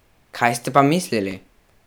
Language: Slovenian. Kaj ste pa mislili?